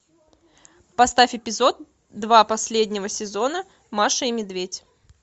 поставь эпизод два последнего сезона маша и медведь